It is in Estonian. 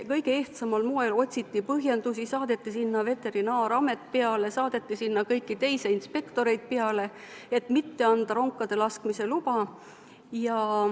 Kõige ehtsamal moel otsiti põhjendusi, saadeti sinna veterinaaramet kohale, saadeti sinna kõiki teisi inspektoreid, et mitte anda ronkade laskmise luba.